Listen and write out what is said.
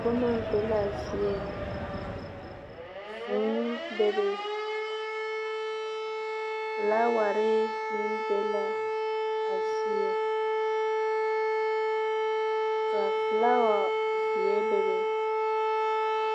Boma be la a zie. Vũũ bebe. Felaaware meŋ be la a zie, ka felaawa zeɛ bebe.